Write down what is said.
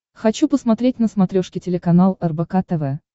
хочу посмотреть на смотрешке телеканал рбк тв